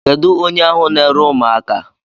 Kedụ onye ahụ na-ere ụmụaka?